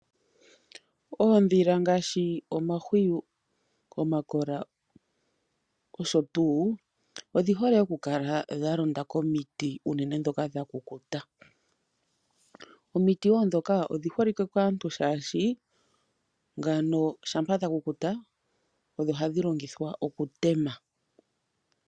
Oondhila ngaashi omahwiyu, omakola nosho tuu odhihole okukala dha londa komiti unene ndhoka dha kukuta . Omiti woo ndhoka odhi holike kaantu oshoka shampa dha kukuta odho hadhi longithwa okutema